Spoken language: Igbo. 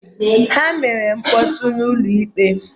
Ha mere mkpọtụ n'ụlọ ikpe